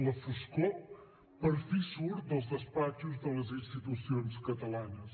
la foscor per fi surt dels despatxos de les institucions catalanes